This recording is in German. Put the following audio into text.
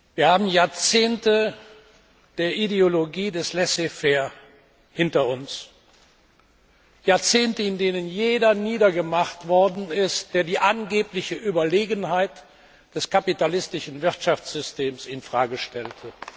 Wir haben Jahrzehnte der Ideologie des Laissez faire hinter uns, Jahrzehnte, in denen jeder niedergemacht worden ist, der die angebliche Überlegenheit des kapitalistischen Wirtschaftssystems in Frage stellte.